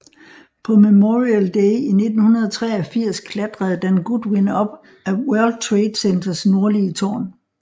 På Memorial Day i 1983 klatrede Dan Goodwin op ad World Trade Centers nordlige tårn